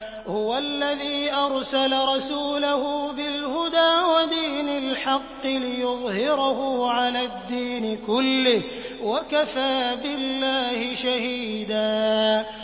هُوَ الَّذِي أَرْسَلَ رَسُولَهُ بِالْهُدَىٰ وَدِينِ الْحَقِّ لِيُظْهِرَهُ عَلَى الدِّينِ كُلِّهِ ۚ وَكَفَىٰ بِاللَّهِ شَهِيدًا